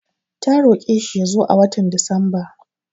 Ta roƙe shi ya zo a watan Disamba.